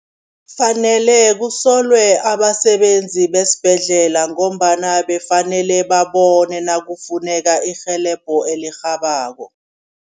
Kufanele kusolwe abasebenzi besibhedlela ngombana bekafanele babone nakufuneka irhelebho elirhabako.